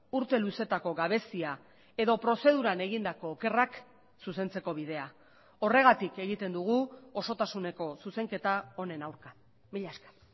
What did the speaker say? urte luzeetako gabezia edo prozeduran egindako okerrak zuzentzeko bidea horregatik egiten dugu osotasuneko zuzenketa honen aurka mila esker